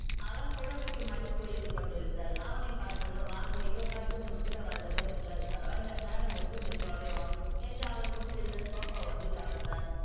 அவள் புடவைக்கு மடிப்பு வைத்து கொண்டிருந்தாள். அவனை பாத்ததும் வாங்க இதோ பத்து நிமிடத்துல வந்துடுறேன் என்றாள். பரவாயில்ல நேரம் இருக்கு மெதுவாவே வா என்று அவள் முன் கிடந்த sofa ஒன்றில் அமர்ந்தான்.